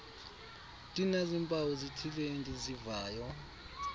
ndinazimpawu zithile endizivayo